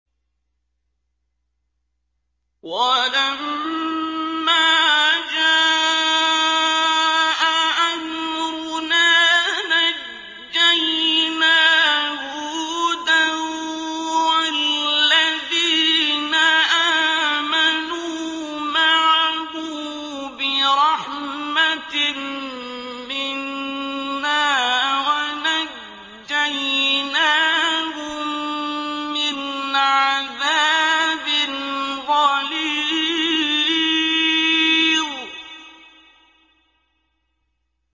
وَلَمَّا جَاءَ أَمْرُنَا نَجَّيْنَا هُودًا وَالَّذِينَ آمَنُوا مَعَهُ بِرَحْمَةٍ مِّنَّا وَنَجَّيْنَاهُم مِّنْ عَذَابٍ غَلِيظٍ